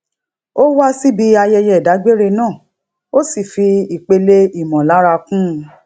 ó wá síbi ayẹyẹ idagbere náà ó sì fi ipele ìmòlára kún un